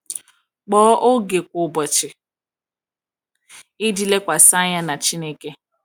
Kpọọ oge kwa ụbọchị iji lekwasị anya na Chineke.